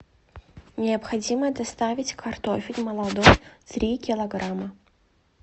необходимо доставить картофель молодой три килограмма